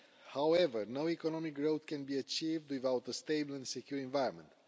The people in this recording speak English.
However, no economic growth can be achieved without a stable and secure environment.